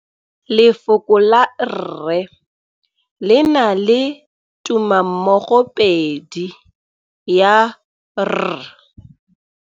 Lefoko la rre le na le tumammogôpedi ya, r.